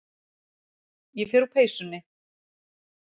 Ég fer úr peysunni.